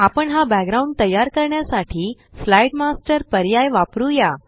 आपण हा बॅकग्राउंड तयार करण्यासाठी स्लाईड मास्टर पर्याय वापरुया